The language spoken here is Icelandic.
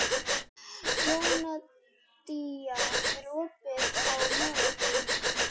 Jóhanndína, er opið í Melabúðinni?